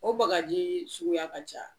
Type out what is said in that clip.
O bagajii suguya ka ca.